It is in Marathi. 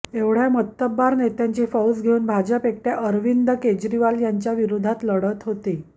एवढ्या मातब्बर नेत्यांची फौज घेऊन भाजपा एकट्या अरविंद केजरीवाल यांच्या विरोधात लढत होती